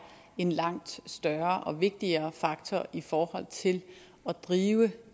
en langt større og vigtigere faktor i forhold til at drive